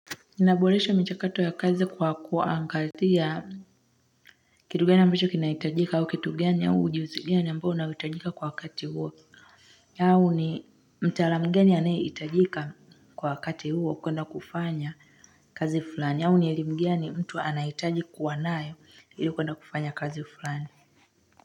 Inaboresha michakato ya kazi kwa kuangatia kitu gani ambacho kinaitajika au kitu gani au ujuzi gani ambao unaoitajika kwa wkati huo. Yangu ni mtaalam mgani anayeitajika kwa wakati huo kwenda kufanya kazi fulani au ni elimu gani mtu anaitaji kuwa nayo ili kwenda kufanya kazi fulani.